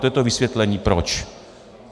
To je to vysvětlení proč.